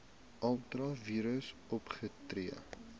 ultra vires opgetree